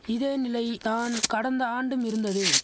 இதே நிலை தான் கடந்த ஆண்டும் இருந்தது